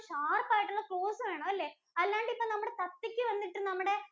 sharp ആയിട്ടുള്ള claws വേണമല്ലേ? അല്ലാണ്ടിപ്പം നമ്മുടെ തത്തയ്ക്കു വന്നിട്ടിപ്പം നമ്മുടെ